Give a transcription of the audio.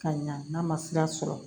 Ka ɲa n'a ma sira sɔrɔ